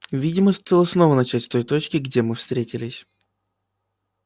видимо стоило снова начать с той точки где мы встретились